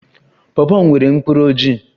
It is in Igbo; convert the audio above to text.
Pawpaw nwere mkpụrụ ojii